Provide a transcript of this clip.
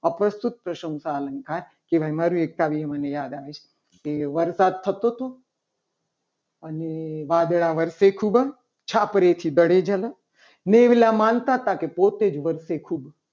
આ પ્રસ્તુત પ્રશંસા અલંકાર જેનું મને એક કાવ્ય યાદ આવે છે. તે વરસાદ થતો હતો. અને કાગડા વર્ષે ખૂબ જ છાપરેથી દડે ઝાલા મેઘલા માનતા હતા. કે પોતે જ વર્ષે ખૂબ